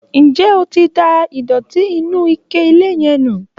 Nje o ti da ìdòtí inú ike ilẹ̀ yẹn nù?